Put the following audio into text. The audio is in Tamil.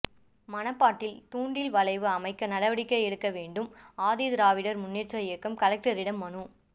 மணப்பாட்டில் தூண்டில் வளைவு அமைக்க நடவடிக்கை எடுக்க வேண்டும் ஆதிதிராவிடர் முன்னேற்ற இயக்கம் கலெக்டரிடம் மனு